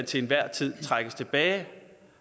til enhver tid kan trækkes tilbage